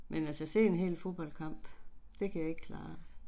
Men altså se en hel fodboldkamp, det kan jeg ikke klare